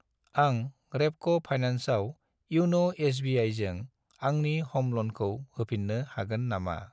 आं रेपक' फाइनान्सआव इउन' एस.बि.आइ.जों आंनि ह'म ल'नखौ होफिन्नो हागोन नामा?